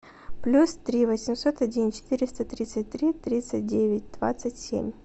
плюс три восемьсот один четыреста тридцать три тридцать девять двадцать семь